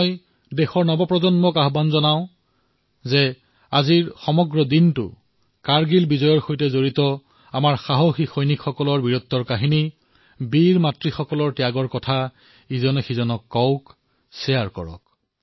মই দেশৰ যুৱচামক আহ্বান জনাইছো যে আজি দিনটো কাৰ্গিল বিজয়ৰ সৈতে জড়িত আমাৰ বীৰসকলৰ কাহিনী বীৰ মাতৃসকলৰ ত্যাগৰ বিষয়ে প্ৰচাৰ কৰক